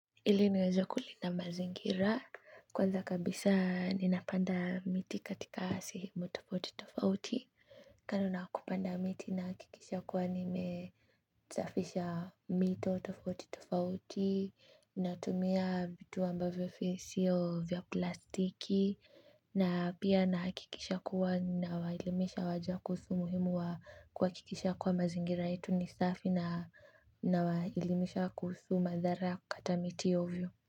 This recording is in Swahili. Ili niweze kulinda mazingira, kwanza kabisa ninapanda miti katika maeneo tofauti tofauti. Kando na kupanda miti na hakikisha kuwa nime nasafisha mito tofauti tofauti, natumia vitu ambavyo si vya plastiki. Na pia nahakikisha kuwa nawaelimisha wengine kuhusu umuhimu wa kuhakikisha kuwa mazingira yetu ni safi. Na waelimisha kuhusu madhara kata miti ovyo.